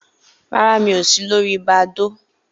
Rárá, mi ò si lòri Badoo